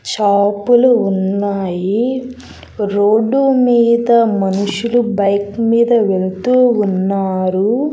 Shop లు ఉన్నాయి road మీద మనుషులు బైక్ మీద వెళ్తూ ఉన్నారు.